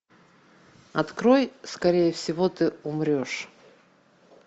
открой скорее всего ты умрешь